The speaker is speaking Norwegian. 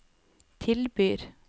tilbyr